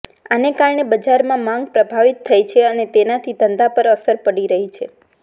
આને કારણે બજારમાં માંગ પ્રભાવિત થઈ છે અને તેનાથી ધંધા પર અસર પડી રહી છે